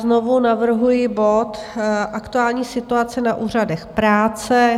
Znovu navrhuji bod Aktuální situace na úřadech práce.